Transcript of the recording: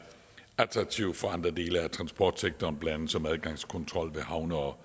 attraktiv for andre dele af transportsektoren blandt andet som adgangskontrol ved havne og